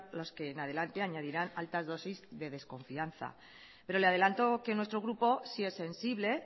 los que en adelante añadirá altas dosis de desconfianza pero le adelante que nuestro grupo sí es sensible